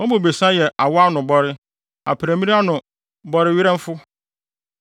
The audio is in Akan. Wɔn bobesa yɛ awɔ ano bɔre; aprammiri ano bɔrewerɛmfo.